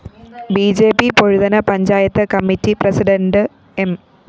B J P Pozhuthana panchayat committee president M